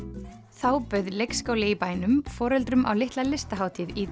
þá bauð leikskóli í bænum foreldrum á litla listahátíð í